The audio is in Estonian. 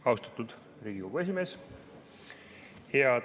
Austatud Riigikogu esimees!